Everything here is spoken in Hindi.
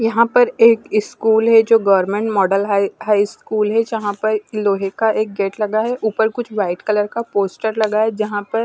यहाँ पर एक स्कूल हैं जो government model high high school हैं जहाँ पे लोहे का एक गेट लगा हैं ऊपर कुछ वाइट कलर का पोस्टर लगा हैं जहाँ पर --